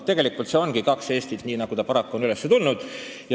Tegelikult ongi kaks Eestit, nii nagu paraku on räägitud.